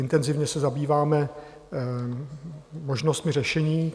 Intenzivně se zabýváme možnostmi řešení.